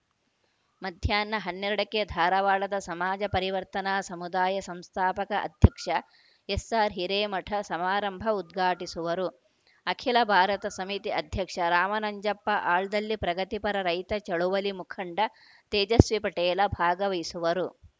ಮಧ್ಯಾಹ್ನ ಹನ್ನೆರಡಕ್ಕೆ ಧಾರವಾಡದ ಸಮಾಜ ಪರಿವರ್ತನಾ ಸಮುದಾಯ ಸಂಸ್ಥಾಪಕ ಅಧ್ಯಕ್ಷ ಎಸ್‌ಆರ್‌ಹಿರೇಮಠ ಸಮಾರಂಭ ಉದ್ಘಾಟಿಸುವರು ಅಖಿಲ ಭಾರತ ಸಮಿತಿ ಅಧ್ಯಕ್ಷ ರಾಮನಂಜಪ್ಪ ಆಲ್ದಳ್ಳಿ ಪ್ರಗತಿಪರ ರೈತ ಚಳುವಳಿ ಮುಖಂಡ ತೇಜಸ್ವಿ ಪಟೇಲ ಭಾಗವಹಿಸುವರು